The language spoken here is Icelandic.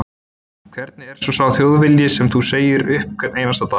Hvernig er svo sá Þjóðvilji sem þú segir upp hvern einasta dag?